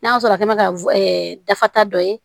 N'a sɔrɔ a kɛmɛna ka dafa ta dɔ ye